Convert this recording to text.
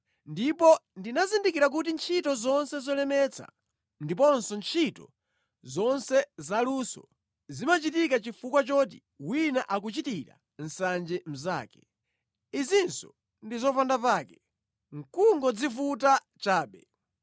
Ndipo ndinazindikira kuti ntchito zonse zolemetsa ndiponso ntchito zonse zaluso zimachitika chifukwa choti wina akuchitira nsanje mnzake. Izinso ndi zopandapake, nʼkungodzivuta chabe.